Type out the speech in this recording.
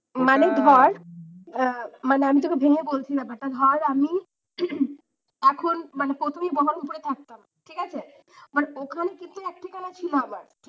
মানে ধর, মানে আমি তোকে ভেঙ্গে বলছি ব্যাপারটা। ধর আমি এখন মানে প্রথমেই বহরমপুরে থাকতাম ঠিক আছে মানে ওখানে থেকে এক ঠিকানা ছিল আবার।